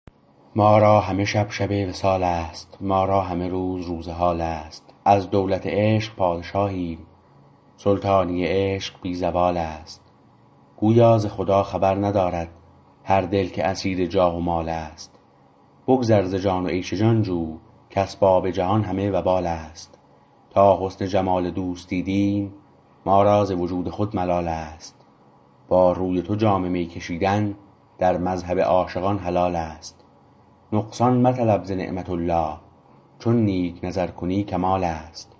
ما را همه شب شب وصال است ما را همه روز روز حال است از دولت عشق پادشاهیم سلطانی عشق بی زوال است گویا ز خدا خبر ندارد هر دل که اسیر جاه و مال است بگذر ز جان و عیش جان جو کاسباب جهان همه وبال است تا حسن جمال دوست دیدیم ما را ز وجود خود ملال است با روی تو جام می کشیدن در مذهب عاشقان حلال است نقصان مطلب ز نعمت الله چون نیک نظر کنی کمال است